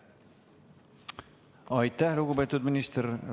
Aitäh, lugupeetud minister!